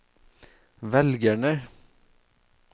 velgerne